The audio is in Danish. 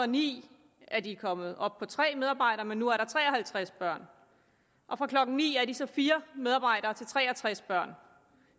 ni er de kommet op på tre medarbejdere men nu er der tre og halvtreds børn og fra klokken ni er de så fire medarbejdere til tre og tres børn